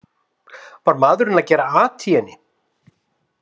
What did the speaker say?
Var maðurinn að gera at í henni?